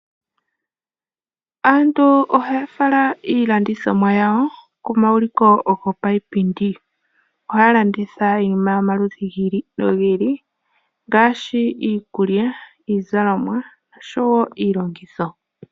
Aantu ohaya fala iilandithomwa yawo pomauliko gopayipindi, ohaya landitha iinima yomalundi gi ili nogi ili ngaashi, iikulya, iizalomwa, osho wo iilongitho.